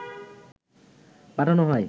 পাঠানো হয়